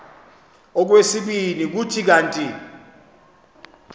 okwesibini kuthi kanti